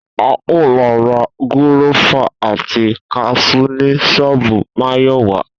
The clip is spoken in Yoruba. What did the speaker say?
A óò lo̩ ra gúró̩fà àti kas̩ú ni s̩ó̩ò̩bù Máyò̩wá